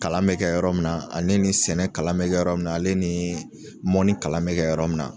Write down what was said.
Kalan bɛ kɛ yɔrɔ min na ani ni sɛnɛ kalan bɛ kɛ yɔrɔ min na ale nii mɔni kalan bɛ kɛ yɔrɔ min na.